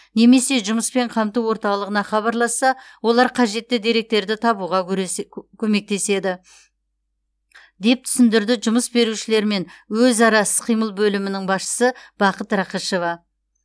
немесе жұмыспен қамту орталығына хабарласса олар қажетті деректерді табуға көресед көмектеседі деп түсіндірді жұмыс берушілермен өзара іс қимыл бөлімінің басшысы бақыт рақышева